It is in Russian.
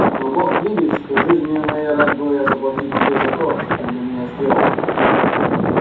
но бог видит что жизнию моей рад бы я заплатить тебе за то что ты для меня сделал